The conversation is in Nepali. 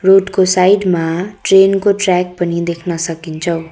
रोड को साइड मा ट्रेन को ट्र्याक पनि देख्न सकिन्छौँ।